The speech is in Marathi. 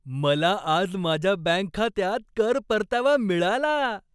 मला आज माझ्या बँक खात्यात कर परतावा मिळाला.